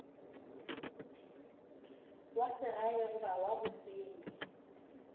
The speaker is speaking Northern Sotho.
wa segae goba wa bosenyi